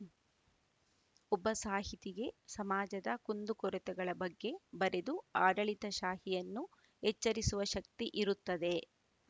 ಒಬ್ಬ ಸಾಹಿತಿಗೆ ಸಮಾಜದ ಕುಂದುಕೊರತೆಗಳ ಬಗ್ಗೆ ಬರೆದು ಆಡಳಿತಶಾಹಿಯನ್ನು ಎಚ್ಚರಿಸುವ ಶಕ್ತಿ ಇರುತ್ತದೆ